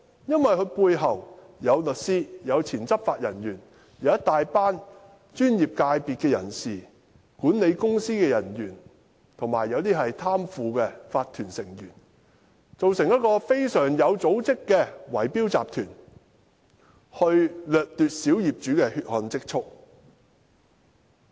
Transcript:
因為他背後有律師、前執法人員、一大群專業人士、管理公司人員，還有一些貪腐的法團成員，組成一個非常有組織的圍標集團，掠奪小業主的"血汗"積蓄。